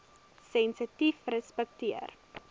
sensitiefrespekteer